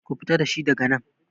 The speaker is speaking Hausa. Ku fita dashi daga nan!